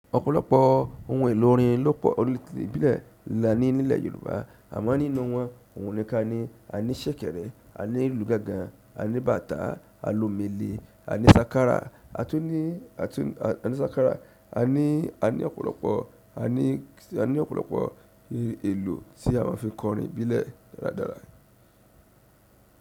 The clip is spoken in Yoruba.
Ọ̀pọ̀lọpọ̀ ohun èlò orin ló pọ̀ ní ìbílẹ̀ là ní nílẹ̀ Yorùbá. Àmọ́ nínú wọn, ohun kan ni a ní ṣẹ̀kẹ̀rẹ̀, a ní ìlù gángan, a ní bàtá, a lo mele, a ní sákárà, a tun ní, a tun ní, a ní sákárà, a ní, a ní ọ̀pọ̀lọpọ̀, a ní, a ní ọ̀pọ̀lọpọ̀ èlò tí a má n fi kọ orin ìbílẹ̀ dáradára.